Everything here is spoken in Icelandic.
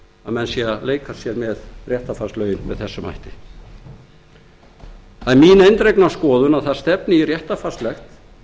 að menn séu að leika sér með réttarfarslögin með þessum hætti það er mín eindregna skoðun að það stefni í réttarfarslegt